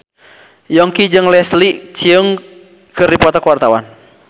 Yongki jeung Leslie Cheung keur dipoto ku wartawan